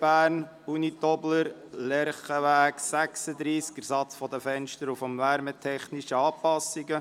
«Bern, Unitobler, Lerchenweg 36, Ersatz Fenster und wärmetechnische Anpassungen.